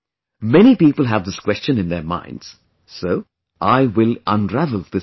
Many people have this question in their minds, so I will unravel this secret